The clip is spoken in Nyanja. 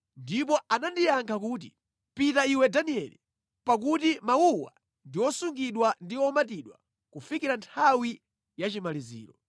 Ndipo anandiyankha kuti, “Pita iwe Danieli, pakuti mawuwa ndi osungidwa ndi omatidwa kufikira nthawi ya chimaliziro.